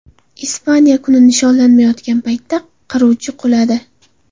Ispaniya kuni nishonlanayotgan paytda qiruvchi quladi.